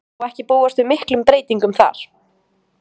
Má ekki búast við miklum breytingum þar?